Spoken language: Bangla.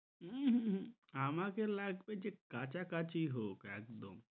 উহুহু আমাকে লাগবে যে কাছাকাছি হোক একদম।